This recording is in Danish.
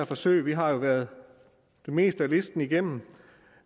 forsøg vi har jo været det meste af listen igennem